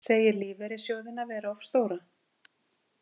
Segir lífeyrissjóðina vera of stóra